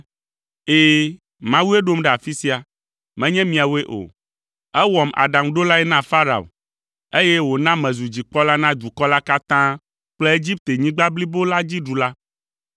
“Ɛ̃, Mawue ɖom ɖe afi sia, menye miawoe o. Ewɔm aɖaŋuɖolae na Farao, eye wòna mezu dzikpɔla na dukɔ la katã kple Egiptenyigba blibo la dzi ɖula.